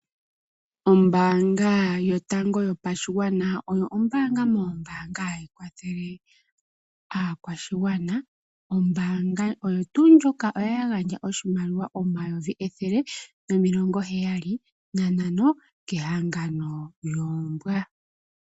Ombanga yotango yopashigwana oyo ombanga moombanga ayi kwathele aakwashigwana, ombanga oyo tuu ndjoka oya gandja oshimaliwa omayovi ethele nomilongo heyali nantano kehangano yoombwa.